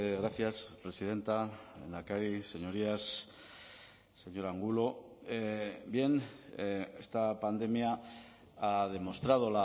gracias presidenta lehendakari señorías señor angulo bien esta pandemia ha demostrado